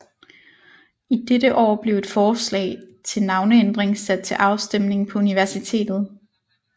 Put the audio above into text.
I dette år blev et forslag til navneændring sat til afstemning på universitetet